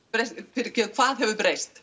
fyrirgefðu hvað hefur breyst